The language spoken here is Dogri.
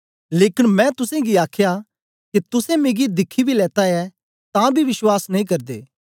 लेकन मैं तुसेंगी आख्या के तुसें मिगी दिखी बी लेत्ता ऐ तां बी विश्वास नेई करदे